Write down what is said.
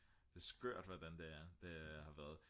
det er skørt hvordan det er det har været